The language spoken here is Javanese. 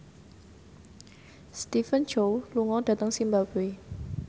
Stephen Chow lunga dhateng zimbabwe